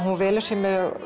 hún velur sér